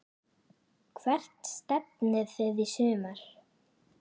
Hvert stefnið þið í sumar?